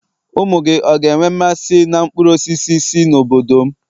umu-gi, ọ̀ga enwe mmasi n' nkpuru-osisi si n'obodom?